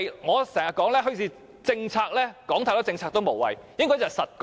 我經常說"墟市政策"，單說太多"政策"也無謂，應該要實幹。